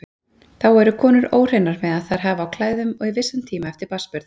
Þá eru konur óhreinar meðan þær hafa á klæðum og í vissan tíma eftir barnsburð.